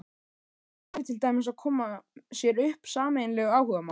Hvernig væri til dæmis að koma sér upp sameiginlegu áhugamáli?